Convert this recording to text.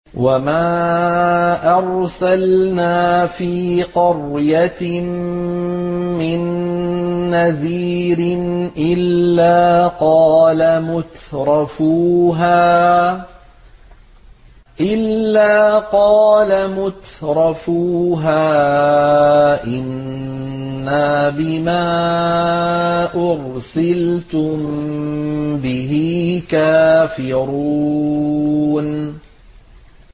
وَمَا أَرْسَلْنَا فِي قَرْيَةٍ مِّن نَّذِيرٍ إِلَّا قَالَ مُتْرَفُوهَا إِنَّا بِمَا أُرْسِلْتُم بِهِ كَافِرُونَ